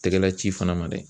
Tɛgɛla ci fana ma dɛ